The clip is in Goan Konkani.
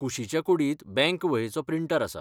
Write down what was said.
कुशीच्या कुडींत बँक वहेचो प्रिंटर आसा.